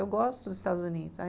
Eu gosto dos Estados Unidos.